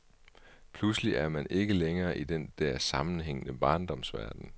Pludselig er man ikke længere i den der sammenhængende barndomsverden.